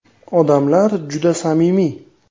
Odamlari juda samimiy.